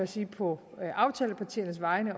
sige på aftalepartiernes vegne